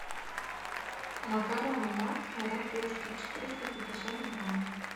макароны макфа ракушки четыреста пятьдесят грамм